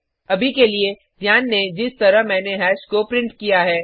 अभी के लिए ध्यान दें जिस तरह मैनें हैश को प्रिंट किया है